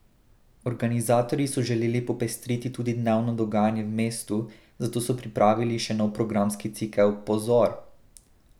Organizatorji so želeli popestriti tudi dnevno dogajanje v mestu, zato so pripravili še nov programski cikel Pozor!